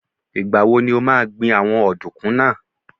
Ìgbà wo ni o máa gbìn àwọn ọ̀dùnkún náà?